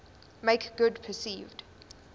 make good perceived